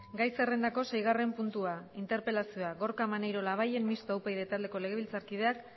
gai zerrendako seigarren puntua interpelazioa gorka maneiro labayen mistoa upyd taldeko legebiltzarkideak